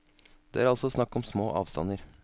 Det er altså snakk om små avstander.